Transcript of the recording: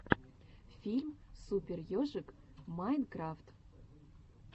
фильм супер ежик майнкрафт